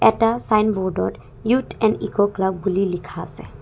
এটা চাইনব'র্ড ত youth and eco club বুলি লিখা আছে।